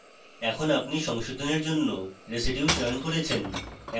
এখন আপনি সংশোধনের জন্য residues চয়ন করেছেন